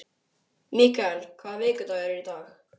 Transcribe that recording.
Mikael, hvaða vikudagur er í dag?